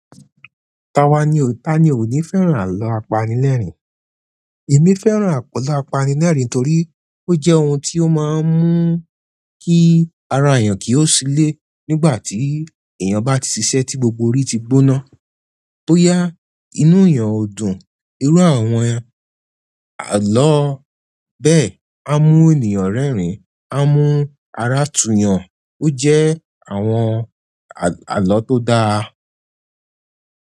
Ta wá ni ó, ta ni ò ní fẹ́ràn àlọ́ apanilẹ́rìn? Èmi fẹ́ràn àlọ́ apanilẹ́rìn torí ó jẹ́ ohun tí ó máa ń mú kí ara èèyàn kí ó ṣilé nígbà tí èèyàn bá ti ṣiṣẹ́ tí gbogbo orí ti gbóná. bóyá inú èèyàn dùn, irú àwọn àlọ́ bẹ́ẹ̀ máa ń mú ènìyàn rẹ́rìn-ín, á mú ara tùyàn. Ó jẹ́ àwọn àlọ́ tó dáa.